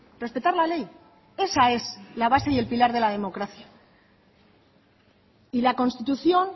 respetar la ley esa es la base y el pilar de la democracia y la constitución